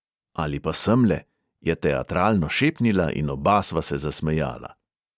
"Ali pa semle," je teatralno šepnila in oba sva se zasmejala.